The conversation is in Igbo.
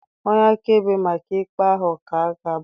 Onye akaebe maka ikpe ahụ ka ga-abata